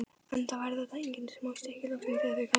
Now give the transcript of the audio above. Enda væru þetta engin smá stykki, loksins þegar þau kæmu.